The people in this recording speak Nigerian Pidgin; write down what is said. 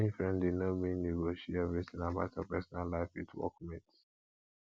being friendly no mean you go share everything about your personal life with workmates